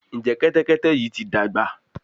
Njé Kẹ́tẹ́kẹ́tẹ́ yí ti dàgbà?